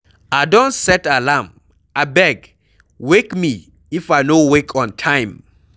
I don set alarm, abeg wake me if I no wake on time.